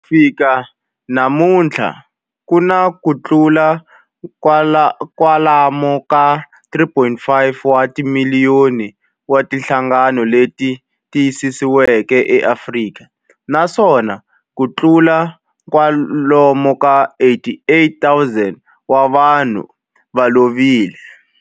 Ku fika namuntlha ku na kutlula kwalomu ka 3.5 wa timiliyoni wa timhangu leti tiyisisiweke eAfrika, naswona kutlula kwalomu ka 88,000 wa vanhu va lovile.